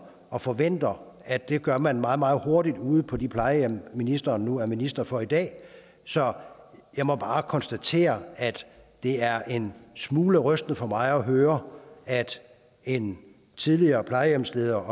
og forventer at det gør man meget meget hurtigt ude på de plejehjem ministeren nu er minister for i dag så jeg må bare konstatere at det er en smule rystende for mig at høre at en tidligere plejehjemsleder